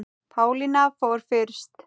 Pálína fór fyrst.